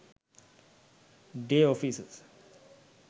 day offices